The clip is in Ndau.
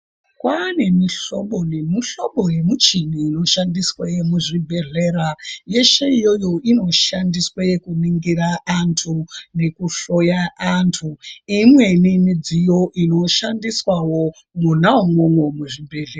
Kwaane mihlobo nemuhlobo yemichini inoshandiswe muzvibhedhlera yeshe iyoyo inoshandiswa kuningira antu nekuhloya antu neimweni midziyo inoshandiswawo mwona umwomwo muzvibhedhlera.